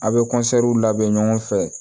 A' bɛ labɛn ɲɔgɔn fɛ